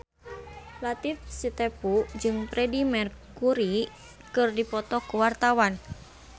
Latief Sitepu jeung Freedie Mercury keur dipoto ku wartawan